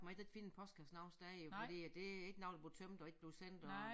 Man kan ikke finde en postkasse nogen steder jo fordi at det er ikke noget der bliver tømt og ikke bliver sendt og